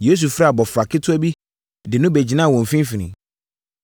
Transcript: Yesu frɛɛ abɔfra ketewa bi de no bɛgyinaa wɔn mfimfini.